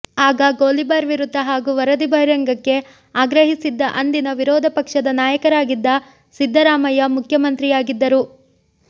ಆಗ ಗೋಲಿಬಾರ್ ವಿರುದ್ಧ ಹಾಗೂ ವರದಿ ಬಹಿರಂಗಕ್ಕೆ ಆಗ್ರಹಿಸಿದ್ದ ಅಂದಿನ ವಿರೋಧಪಕ್ಷದ ನಾಯಕರಾಗಿದ್ದ ಸಿದ್ದರಾಮಯ್ಯ ಮುಖ್ಯಮಂತ್ರಿಯಾಗಿದ್ದರು